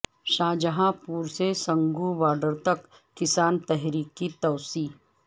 شاہجہاں پور سے سنگھو بارڈرتک کسان تحریک کی توسیع